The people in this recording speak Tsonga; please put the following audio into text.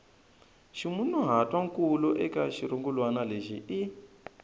ximunhuhatwankulu eka xirungulwana lexi i